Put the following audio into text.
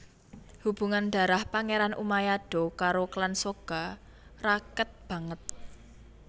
Hubungan darah Pangeran Umayado karo klan Soga raket banget